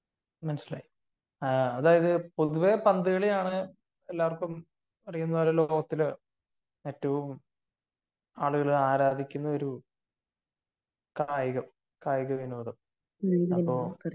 മനസ്സിലായി ആഹ് അതായത് പൊതുവെ പന്തുകളിയാണ് എല്ലാർക്കും അറിയുന്ന ലോക കപ്പിലെ ഏറ്റവും ആളുകൾ ആരാധിക്കുന്നൊരു കായികം കായികവിനോദം